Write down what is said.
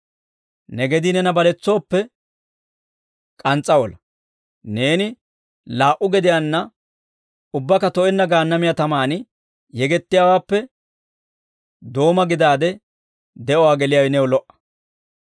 Ne gedii neena baletsooppe, k'ans's'a ola; neeni laa"u gediyaanna ubbakka to'enna Gaannamiyaa tamaan yegettiyaawaappe, dooma gidaade de'uwaa geliyaawe new lo"a.